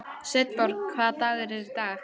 Sveinborg, hvaða dagur er í dag?